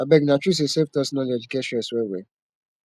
abeg na true say selftaught knowledge get stress well well